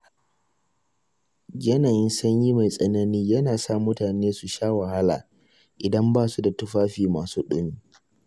Yanayin sanyi mai tsanani yana sa mutane su sha wahala idan ba su da tufafi masu ɗumi.